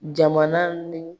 Jamana ni